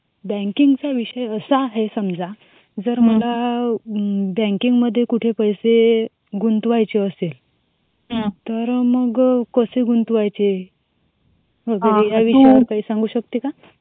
Banking चा विषय असा आहे समजा जर मला जर बँकिंग मध्ये कुठे पैसे गुंतवायचे असेल तर मग कसे गुंतवायचे. या विषयवार तू काही सांगू शकते काय.